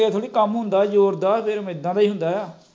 ਇਹ ਥੋੜੀ ਕੱਮ ਜ਼ੋਰ ਦਾ ਫੇਰ ਐਦਾਂ ਦਾ ਹੀ ਹੁੰਦਾ